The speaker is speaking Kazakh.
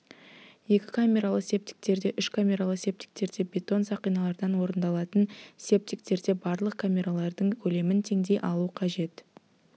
екі камералы септиктерде үш камералы септиктерде бетон сақиналардан орындалатын септиктерде барлық камералардың көлемін теңдей алу қажет